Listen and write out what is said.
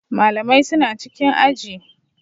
Malamai suna cikin aji.